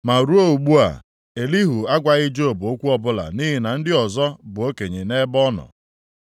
Ma ruo ugbu a, Elihu agwaghị Job okwu ọbụla nʼihi na ndị ọzọ bụ okenye nʼebe ọ nọ.